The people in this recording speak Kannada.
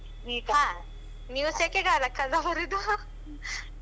ಹ, ನೀವು ಸೆಕೆಗಾಲಕ್ಕಲ್ಲ ಬರುದು